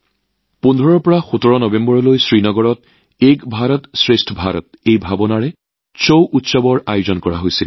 এক ভাৰত শ্ৰেষ্ঠ ভাৰতৰ মনোভাৱেৰে শ্ৰীনগৰত ১৫ নৱেম্বৰৰ পৰা ১৭ নৱেম্বৰলৈ ছাউ উৎসৱৰ আয়োজন কৰা হয়